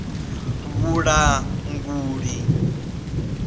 vhulanguli